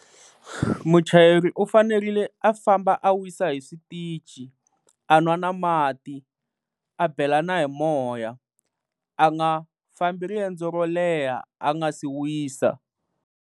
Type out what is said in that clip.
Muchayeri u fanerile a famba a wisa hi switichi, a nwa na mati, a bela na hi moya, a nga fambi riendzo ro leha a nga si wisa.